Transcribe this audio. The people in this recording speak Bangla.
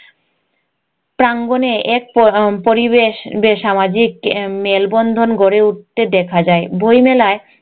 প্রাঙ্গনে এক পরিবেশ যে সামাজিক মেলবন্ধন গড়ে উঠতে দেখা যায় বই মেলায়